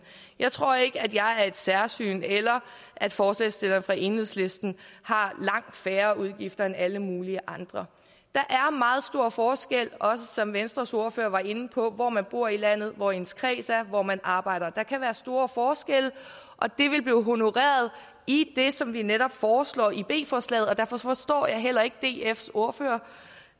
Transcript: jeg tror ikke at jeg er noget særsyn eller at forslagsstillerne fra enhedslisten har langt færre udgifter end alle mulige andre der er meget stor forskel også som venstres ordfører var inde på hvor man bor i landet og hvor ens kreds ligger og hvor man arbejder der kan være store forskelle og det ville blive honoreret i det som vi netop foreslår i b forslaget og derfor forstår jeg heller ikke dfs ordfører